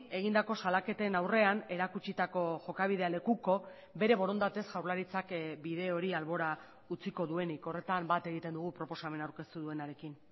egindako salaketen aurrean erakutsitako jokabidea lekuko bere borondatez jaurlaritzak bide hori albora utziko duenik horretan bat egiten dugu proposamena aurkeztu duenarekin